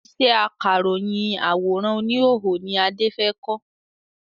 Ìṣe akáròyìn àwòrán oníhòòhò ni Adé fẹ kọ́